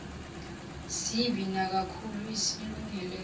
sibi nakakhulu isilungulela